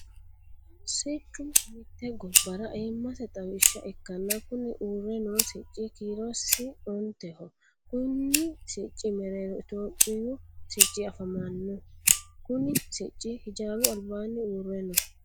Siccu mite gobara ayimase xawisha ikanna kunni uure noo sicci kiirosi onteho. Konni sicci mereero itophiyu sicci afamano. Kunni Sicce hijaaru albaanni uure no.